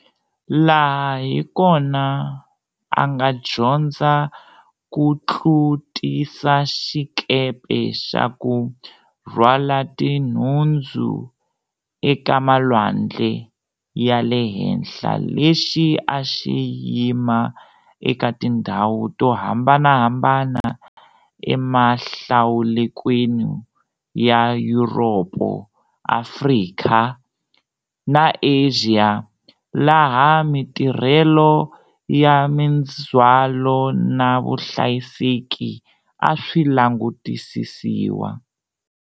Laha hi kona a nga dyondza ku tlutisa xikepe xa ku rhwala tinhundzu, eka malwandle ya le henhla lexi a xi yima eka tindhawu to hambanahambana emahlalukweni ya Yuropo, Afrika na Asia laha matirhelo ya mindzwalo na vuhlayiseki a swi langutisisiwa.